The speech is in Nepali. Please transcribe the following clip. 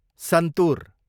सन्तुर